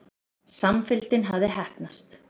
Samfylgdin hafði heppnast.